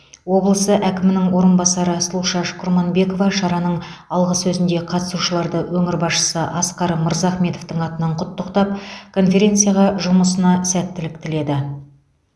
облысы әкімінің орынбасары сұлушаш құрманбекова шараның алғы сөзінде қатысушыларды өңір басшысы асқар мырзахметовтың атынан құттықтап конференция жұмысына сәттілік тіледі